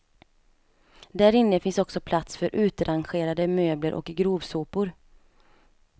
Därinne finns också plats för utrangerade möbler och grovsopor.